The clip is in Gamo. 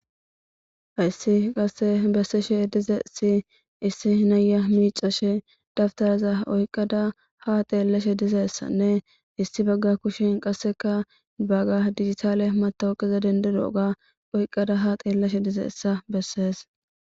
hayssi qasse besseshe dizayssi issi naya miicashe dabtaraza oyqqada ha teellashe dizeessanne issi bagga kushin qasseka bagga digitaale matawuqiza dendido ga oyqqada ha xeelleshe dizayssa bessees.